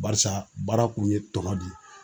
Barisa baara kun ye tɔnɔ de ye.